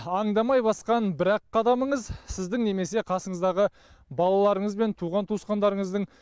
аңдамай басқан бір ақ қадамыңыз сіздің немесе қасыңыздағы балаларыңыз бен туған туысқандарыңыздың